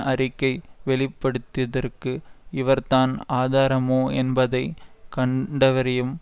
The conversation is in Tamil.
அறிக்கை வெளிப்படுத்திதற்கு இவர்தான் ஆதாரமோ என்பதைக்கண்டவறியும்